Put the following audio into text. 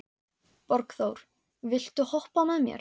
Borgþór, viltu hoppa með mér?